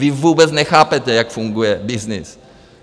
Vy vůbec nechápete, jak funguje byznys.